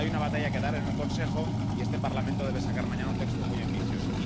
Hay una batalla que dar en el Consejo, y este Parlamento debe sacar mañana un texto muy ambicioso.